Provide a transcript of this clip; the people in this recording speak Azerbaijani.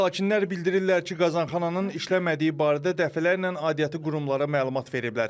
Sakinlər bildirirlər ki, qazanxananın işləmədiyi barədə dəfələrlə aidiyyatı qurumlara məlumat veriblər.